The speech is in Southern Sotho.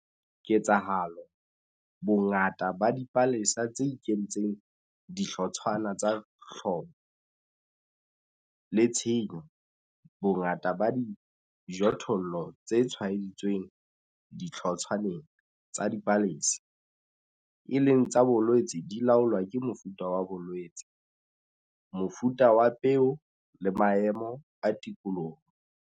Ketsahalo, bongata ba dipalesa tse ikentseng dihlotshwana tsa hlobo le tshenyo, bongata ba dijothollo tse tshwaeditsweng dihlotshwaneng tsa dipalesa, e leng tsa bolwetse di laolwa ke mofuta wa bolwetse, mofuta wa peo le maemo a tikoloho.